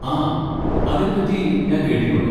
ആ, അതിനെപ്പറ്റി ഞാൻ കേട്ടിട്ടുണ്ട്.